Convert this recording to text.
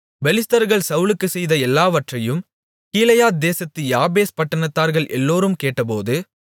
பெலிஸ்தர்கள் சவுலுக்கு செய்த எல்லாவற்றையும் கீலேயாத்தேசத்து யாபேஸ் பட்டணத்தார்கள் எல்லோரும் கேட்டபோது